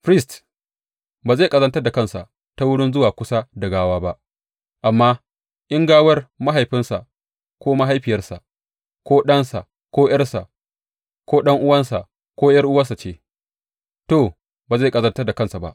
Firist ba zai ƙazantar da kansa ta wurin zuwa kusa da gawa ba; amma, in gawar mahaifinsa ko mahaifiyarsa, ko ɗansa ko ’yarsa, ko ɗan’uwansa ko ’yar’uwarsa ce, to, ba zai ƙazantar da kansa ba.